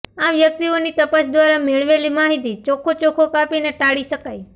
આ વ્યક્તિઓની તપાસ દ્વારા મેળવેલી માહિતી ચોખ્ખો ચોખ્ખો કાપીને ટાળી શકાય